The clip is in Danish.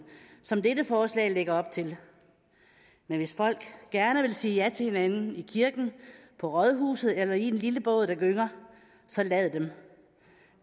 som dette forslag lægger op til men hvis folk gerne vil sige ja til hinanden i kirken på rådhuset eller i en lille båd der gynger så lad dem